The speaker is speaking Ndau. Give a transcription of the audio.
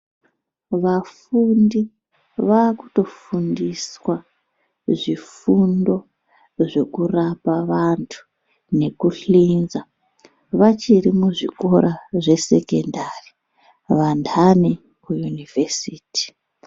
Vafundi vakuto fundiswa zvifundo zveku rapa vantu neku hlinza vachiri mu zvikora zve sekendari vandani ku yunivhesiti.